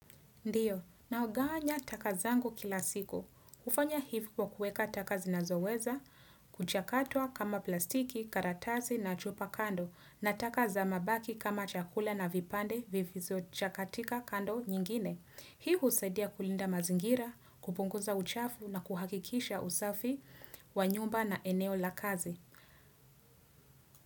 Ndiyo, naoganya taka zangu kila siku. Kufanya hivu kwa kueka taka zinazoweza, kuchakatwa kama plastiki, karatasi na chupa kando, na taka za mabaki kama chakula na vipande vifizo chakatika kando nyingine. Hi husadia kulinda mazingira, kupunguza uchafu na kuhakikisha usafi, wanyumba na eneo la kazi.